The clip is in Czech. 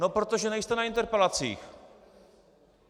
No protože nejste na interpelacích.